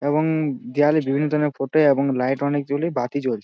এবং দেয়ালে বিভিন্ন ধরণের ফটো এবং লাইট অনেক জ্বলে বাতি জ্বল--